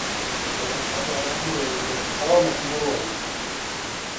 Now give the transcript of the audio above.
Ndagĩtarĩ aramũrorire arona ti mũrwaru